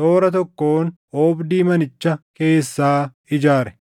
toora tokkoon oobdii manicha keessaa ijaare.